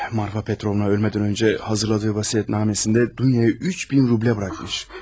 Marfa Petrovna ölmədən öncə hazırladığı vəsiyyətnaməsində Duyaya 3000 rublə bırakmış.